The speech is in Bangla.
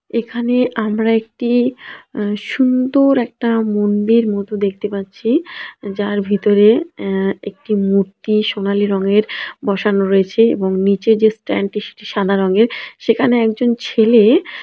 এখানে আমরা একটি -এ সুন্দর একটা মন্দির মত দেখতে পাচ্ছি যার ভিতরে -এ-একটি মূর্তি সোনালী রঙের বসানো রয়েছে এবং নিচে যে স্ট্যান্ড টি সেটি সাদা রঙের সেখানে একজন ছেলে--